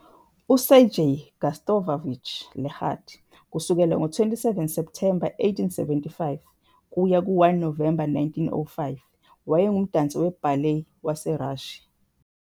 USergei Gustavovich Legat, 27 Septhemba 1875 - 1 Novemba 1905, wayengumdansi we- ballet waseRussia.